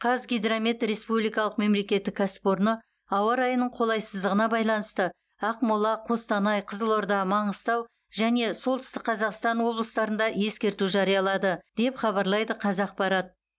қазгидромет республикалық мемлекеттік кәсіпорыны ауа райының қолайсыздығына байланысты ақмола қостанай қызылорда маңғыстау және солтүстік қазақстан облыстарында ескерту жариялады деп хабарлайды қазақпарат